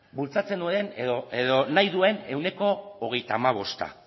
bultzatzen duen edo nahi duen ehuneko hogeita hamabost